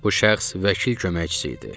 Bu şəxs vəkil köməkçisi idi.